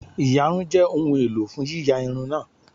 íyarún jẹ ohun elò fun yiya irun naa